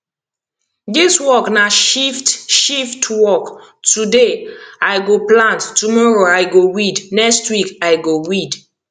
dis work na shift shift work today i go plant tomoro i go weed next week i go weed